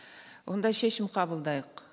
онда шешім қабылдайық